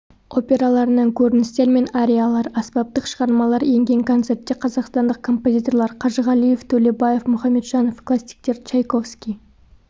операларынан көріністер мен ариялар аспаптық шығармалар енген концертте қазақстандық композиторлар қажығалиев төлебаев мұхамеджанов классиктер чайковский